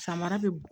Samara bɛ bo